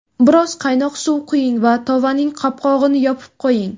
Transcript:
Biroz qaynoq suv quying va tovaning qopqog‘ini yopib qo‘ying.